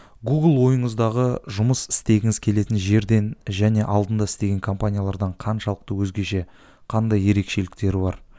гугл ойыңыздағы жұмыс істегіңіз келетін жерден және алдында істеген компаниялардан қаншалықты өзгеше қандай ерекшеліктері бар